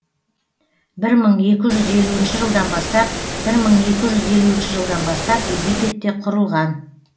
бір мың екі жүз елуінші жылдан бастап бір мың екі жүз елуінші жылдан бастап египетте құрылған